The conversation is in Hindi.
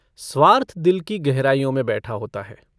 स्वार्थ दिल की गहराइयों में बैठा होता है।